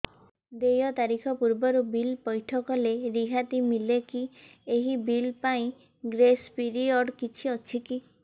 ଦେୟ ତାରିଖ ପୂର୍ବରୁ ବିଲ୍ ପୈଠ କଲେ ରିହାତି ମିଲେକି ଏହି ବିଲ୍ ପାଇଁ ଗ୍ରେସ୍ ପିରିୟଡ଼ କିଛି ଅଛିକି